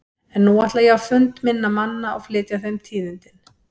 En nú ætla ég á fund minna manna og flytja þeim tíðindin.